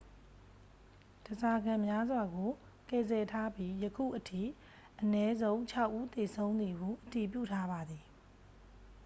ဓားစာခံများစွာကို ကယ်ဆယ်ထားပြီး ယခုအထိ အနည်းဆုံး ခြောက် ဦးသေဆုံးသည်ဟု အတည်ပြုထားပါသည်